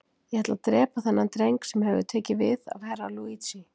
Ég ætla að drepa þennan dreng sem hefur tekið við af Herra Luigi.